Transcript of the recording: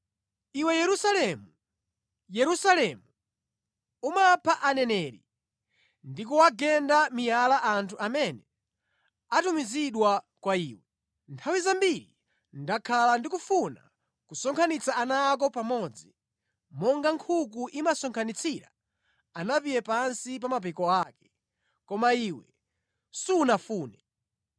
Iwe Yerusalemu, Yerusalemu! Umapha aneneri ndi kuwagenda miyala anthu amene atumizidwa kwa iwe. Nthawi zambiri ndakhala ndikufuna kusonkhanitsa ana ako pamodzi, monga nkhuku imasonkhanitsira anapiye pansi pa mapiko ake, koma iwe sunafune!